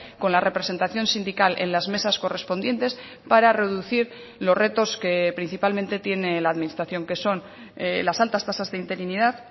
con la representación sindical en las mesas correspondientes para reducir los retos que principalmente tiene la administración que son las altas tasas de interinidad